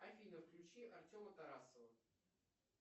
афина включи артема тарасова